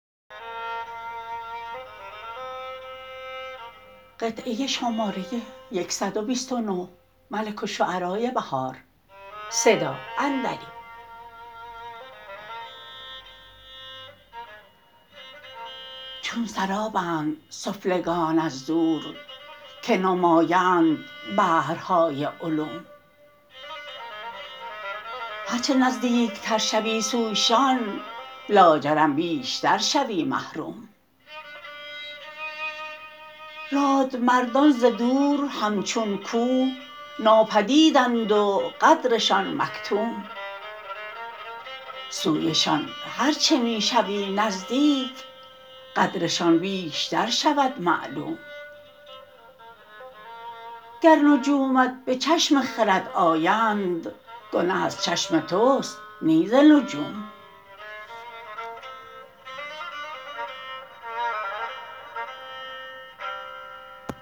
چون سرابند سفلگان از دور که نمایند بحرهای علوم هرچه نزدیک تر شوی سویشان لاجرم بیشتر شوی محروم رادمردان ز دور همچون کوه ناپدیدند و قدرشان مکتوم سویشان هرچه می شوی نزدیک قدرشان بیشتر شود معلوم گر نجومت به چشم خرد آیند گنه از چشم تو است نی ز نجوم